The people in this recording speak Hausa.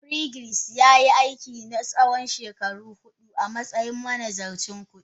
Frederick yayi aiki na tsawon shekaru hudu a matsayin manazarcin kudi.